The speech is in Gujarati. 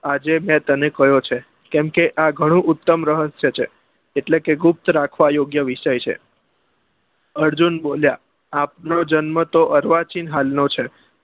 આજે મેં તને કહ્યો છે કેમ કે આ ગણો ઉત્તમ રહસ્ય છે એટલે કે ગુપ્ત રાખવા વિષય છે અર્જુન બોલ્યા આપનો જન્મ તો અર્વાચીન હાલ નો છે